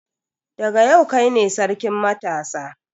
Daga yau kai ne sarkin matasa.